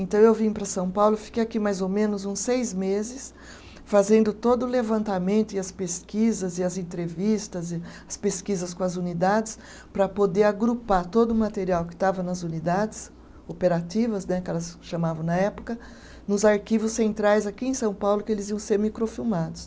Então eu vim para São Paulo, fiquei aqui mais ou menos uns seis meses, fazendo todo o levantamento e as pesquisas e as entrevistas e, as pesquisas com as unidades, para poder agrupar todo o material que estava nas unidades operativas né, que elas chamavam na época, nos arquivos centrais aqui em São Paulo, que eles iam ser microfilmados.